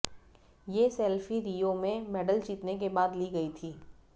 ये selfie Rio में medal जितने के बाद ली गई थी